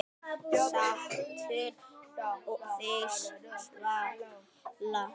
Stattu þig, Svala